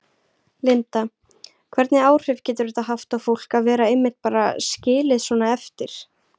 Linda: Hvernig áhrif getur þetta haft á fólk að vera einmitt bara skilið svona eftir?